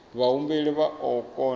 vhahumbeli vha o kona u